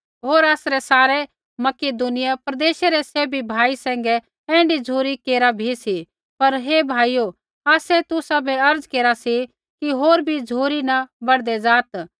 होर आसरै सारै मकिदुनियै प्रदेश रै सैभी भाई सैंघै ऐण्ढी झ़ुरी केरा बी सी पर हे भाइयो आसै तुसाबै अर्ज़ केरा सी कि होर बी झ़ुरी न बढ़दै ज़ात्